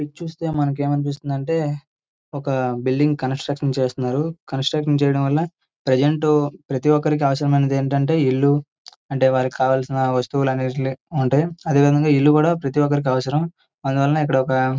ఇది చూస్తే మనకు ఏమనిపిస్తుంది అంటే ఒక బిల్డింగ్ కన్స్ట్రక్షన్ చేస్తున్నారు కన్స్ట్రక్షన్ చేయడం వల్ల ప్రెసెంట్ ప్రతి ఒక్కరికి అవసరమైనది ఏంటంటే ఇల్లు అంటే వారికి కావాల్సిన వస్తువులు అన్ని అంటే అదే విధంగా ఇల్లు కూడా ప్రతి ఒక్కరికి అవసరం అందువల్ల ఇది ఒక --